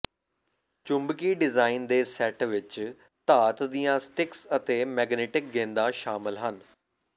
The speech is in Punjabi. ਚੁੰਬਕੀ ਡਿਜ਼ਾਇਨ ਦੇ ਸੈੱਟ ਵਿੱਚ ਧਾਤ ਦੀਆਂ ਸਟਿਕਸ ਅਤੇ ਮੈਗਨੀਟਿਕ ਗੇਂਦਾਂ ਸ਼ਾਮਲ ਹਨ